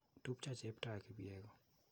Tupcho Cheptoo ak Kipyego.